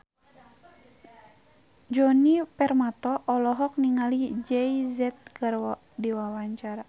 Djoni Permato olohok ningali Jay Z keur diwawancara